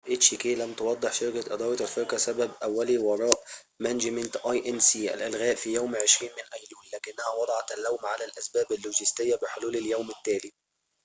لم تُوضح شركة إدارة الفرقة hk management inc سبب أولي وراء الإلغاء في يوم 20 من أيلول لكنها وضعت اللوم على الأسباب اللوجستية بحلول اليوم التالي